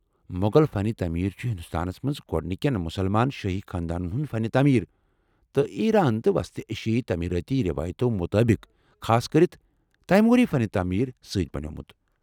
مُغل فن تعمیر چُھ ہندوستانس منٛز گوڑنکٮ۪ن مُسلمان شٲہی خاندانن ہنٛدِ فن تٲمیر تہٕ ایرٲن تہٕ وسط ایشیٲئی تعمیرٲتی ریوایتو مطٲبق ، خاصكرِتھ تیموٗری فن تعمیر سۭتۍ بنیومُت ۔